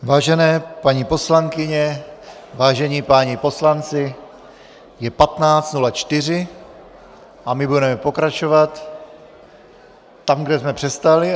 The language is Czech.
Vážené paní poslankyně, vážení páni poslanci, je 15.04 a my budeme pokračovat tam, kde jsme přestali.